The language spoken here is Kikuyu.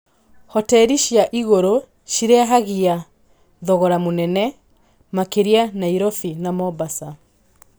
Hoteri cia igũrũ cirehagia thogora mũnene, makĩria Nairobi na Mombasa.